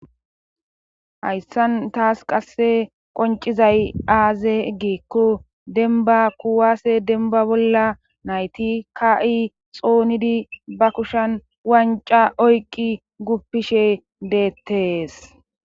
Hayssan taas qasse qoncizay aaze giikko denba kuwaase denba bolla nayti ka'i xoonidi ba kushan wanca oyqqi guppishe deettees.